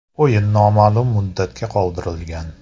O‘yin noma’lum muddatga qoldirilgan.